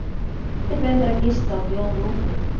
Matti bauð mér að gista og bjó um rúm fyrir mig.